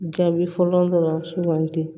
Jaabi fɔlɔ dɔrɔn sugandi